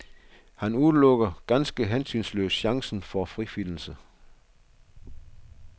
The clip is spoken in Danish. Han udelukker ganske hensynsløst chancen for frifindelse.